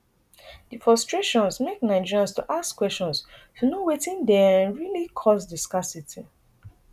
di frustrations make nigerians to ask questions to know wetin dey um really cause di scarcity